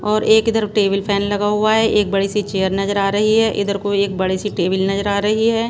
और एक इधर टेबल फैन लगा हुआ है एक बड़ी सी चेयर नजर आ रही है इधर को एक बड़ी सी टेबल नजर आ रही है।